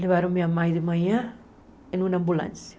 Levaram minha mãe de manhã em uma ambulância.